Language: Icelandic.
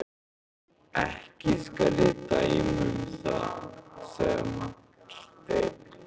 Ekki skal ég dæma um það, sagði Marteinn.